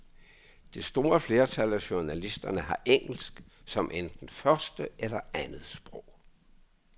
Det store flertal af journalisterne har engelsk som enten første eller andet sprog.